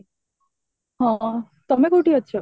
ହଁ, ତମେ କୋଉଠି ଅଛ?